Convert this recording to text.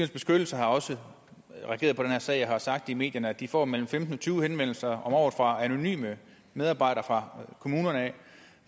beskyttelse har også regeret på den her sag og har sagt i medierne at de får mellem femten og tyve henvendelser om året fra anonyme medarbejdere fra kommunerne